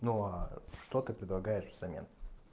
ну что ты предлагаешь взамен